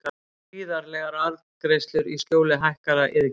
Gríðarlegar arðgreiðslur í skjóli hækkaðra iðgjalda